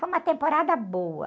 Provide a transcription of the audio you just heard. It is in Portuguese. Foi uma temporada boa.